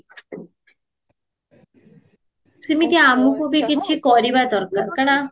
ସେମିତି ଆମକୁବି କିଛି କରିବା ଦରକାର କାରଣ